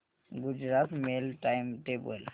Gujarat mail time table